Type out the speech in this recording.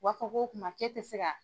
U b'a fɔ k'o kuma k'e tɛ se ka.